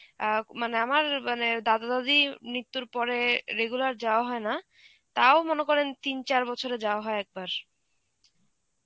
অ্যাঁ মানে আমার মানে দাদা দাদি মৃত্যুর পরে regular যাওয়া হয় না, তাও মনে করেন তিন চার বছরে যাওয়া হয় একবার.